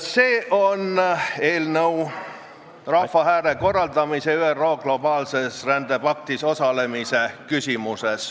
See on eelnõu rahvahääletuse korraldamiseks ÜRO globaalses rändepaktis osalemise küsimuses.